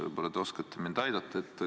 Võib-olla te oskate mind aidata.